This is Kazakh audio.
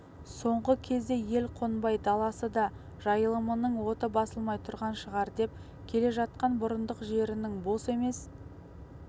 соңғы кезде ел қонбай даласы да жайылымының оты басылмай тұрған шығар деп келе жатқан бұрындық жерінің бос емес